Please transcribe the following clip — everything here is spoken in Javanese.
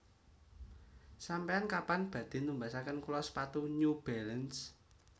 Sampean kapan badhe numbasaken kula sepatu New Balance